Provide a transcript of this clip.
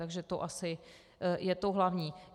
Takže to asi je to hlavní.